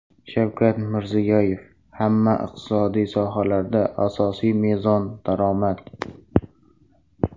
Shavkat Mirziyoyev: Hamma iqtisodiy sohalarda asosiy mezon – daromad.